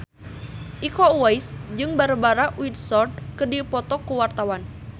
Iko Uwais jeung Barbara Windsor keur dipoto ku wartawan